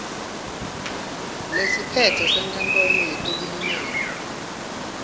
lesiphetse senkantolo yetekulingana